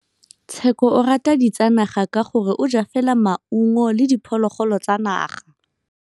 Tshekô o rata ditsanaga ka gore o ja fela maungo le diphologolo tsa naga.